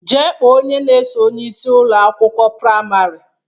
Jee kpọọ onye na-eso onyeisi Ụlọ akwụkwọ praịmarị!